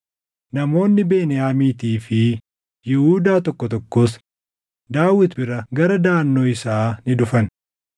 Namoonni Beniyaamiitii fi Yihuudaa tokko tokkos Daawit bira gara daʼannoo isaa ni dhufan.